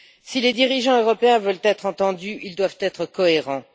Si les dirigeants européens veulent être entendus, ils doivent être cohérents.